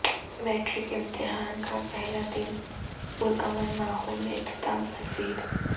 matric امتحان کا پہلا دن پرامن ماحول میں اختتام پذیر